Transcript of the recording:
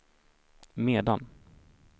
medan